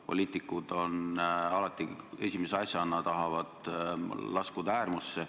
Poliitikud alati esimese asjana tahavad laskuda äärmusse.